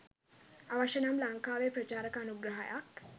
අවශ්‍ය නම් ලංකාවේ ප්‍රචාරක අනුග්‍රහයක්